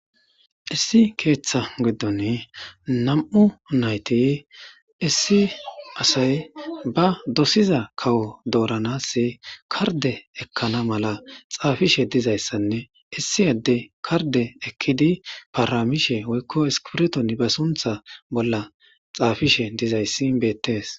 Issi keeththa giddon nam7u nayti issi asay ba dosiza kawo dooranass karde ekkana mala xaafishe dizayssanne issi adde karde ekkidi paaramishe woykko iskirton ba suntha bolla xaafishe dizayssi beettees.